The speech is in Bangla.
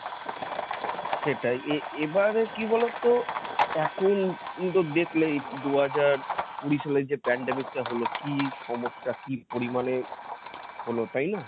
সেটাই এ~ এবার কি বলতো? এখন তো দেখলেই দু হাজার কুড়ি সালে যে pandemic টা হলো কি সমস্যা কি পরিমানে হল তাই না?